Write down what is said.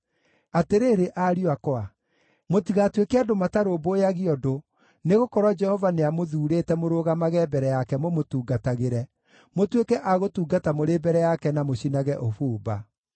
Atĩrĩrĩ, ariũ akwa, mũtigatuĩke andũ matarũmbũyagia ũndũ, nĩgũkorwo Jehova nĩamũthuurĩte mũrũgamage mbere yake mũmũtungatagĩre, mũtuĩke a gũtungata mũrĩ mbere yake na mũcinage ũbumba.”